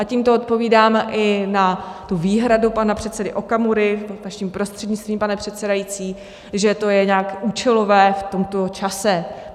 A tímto odpovídáme i na tu výhradu pana předsedy Okamury vaším prostřednictvím, pane předsedající, že to je nějak účelové v tomto čase.